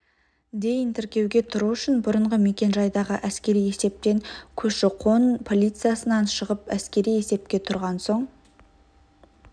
дейін тіркеуге тұру үшін бұрынғы мекенжайдағы әскери есептен көші-қон полициясынан шығып әскери есепке тұрған соң